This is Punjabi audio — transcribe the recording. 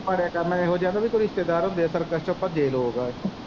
ਬਣੇ ਕਰਨਾ ਏਹੋ ਜੇਹੇ ਰਿਸ਼ਤੇਦਾਰ ਹੁੰਦੇ ਸਰਕਸ਼ ਚੋ ਭੱਜੇ ਲੋਕ।